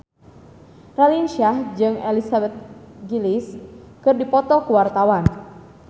Raline Shah jeung Elizabeth Gillies keur dipoto ku wartawan